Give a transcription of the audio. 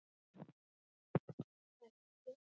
Það vex fljótt.